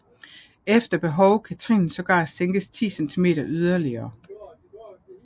Efter behov kan trinet sågar sænkes 10 centimeter yderligere